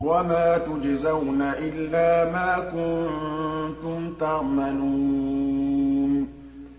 وَمَا تُجْزَوْنَ إِلَّا مَا كُنتُمْ تَعْمَلُونَ